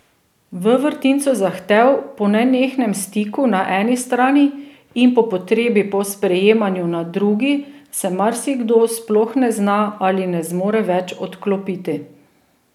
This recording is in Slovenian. V vrtincu zahtev po nenehnem stiku na eni strani in po potrebi po sprejemanju na drugi se marsikdo sploh ne zna ali ne zmore več odklopiti.